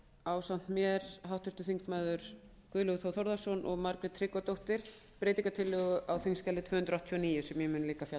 ásamt mér háttvirtir þingmenn guðlaugur þór þórðarson og margrét tryggvadóttir breytingartillögu á þingskjali tvö hundruð áttatíu og níu sem ég mun líka fjalla